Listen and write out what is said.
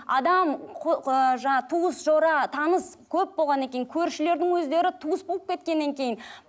адам ыыы жаңа туыс жора таныс көп болғаннан кейін көршілердің өздері туыс болып кеткеннен кейін